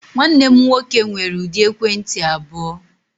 Nwanne m nwoke nwere ụdị ekwentị abụọ.